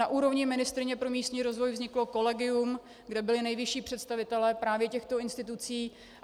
Na úrovni ministryně pro místní rozvoj vzniklo kolegium, kde byli nejvyšší představitelé právě těchto institucí.